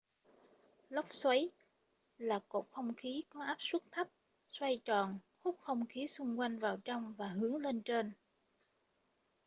lốc xoáy là cột không khí có áp suất thấp xoay tròn hút không khí xung quanh vào trong và hướng lên trên